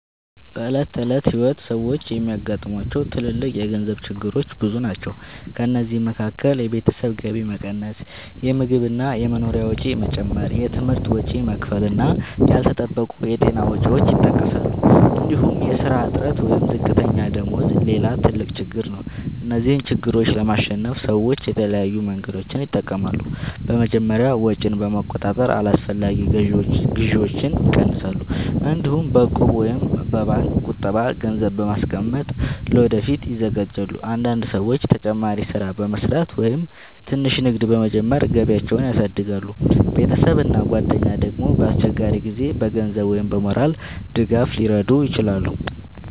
በዕለት ተዕለት ሕይወት ሰዎች የሚያጋጥሟቸው ትልልቅ የገንዘብ ችግሮች ብዙ ናቸው። ከእነዚህ መካከል የቤተሰብ ገቢ መቀነስ፣ የምግብ እና የመኖሪያ ወጪ መጨመር፣ የትምህርት ወጪ መክፈል እና ያልተጠበቁ የጤና ወጪዎች ይጠቀሳሉ። እንዲሁም የሥራ እጥረት ወይም ዝቅተኛ ደመወዝ ሌላ ትልቅ ችግር ነው። እነዚህን ችግሮች ለማሸነፍ ሰዎች የተለያዩ መንገዶችን ይጠቀማሉ። በመጀመሪያ ወጪን በመቆጣጠር አላስፈላጊ ግዢዎችን ይቀንሳሉ። እንዲሁም በእቁብ ወይም በባንክ ቁጠባ ገንዘብ በማስቀመጥ ለወደፊት ይዘጋጃሉ። አንዳንድ ሰዎች ተጨማሪ ሥራ በመስራት ወይም ትንሽ ንግድ በመጀመር ገቢያቸውን ያሳድጋሉ። ቤተሰብ እና ጓደኞች ደግሞ በአስቸጋሪ ጊዜ በገንዘብ ወይም በሞራል ድጋፍ ሊረዱ ይችላሉ።